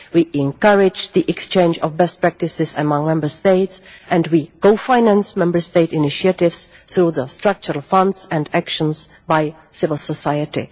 we encourage the exchange of best practices among Member States and we co finance Member State initiatives through the Structural Funds and actions by civil society.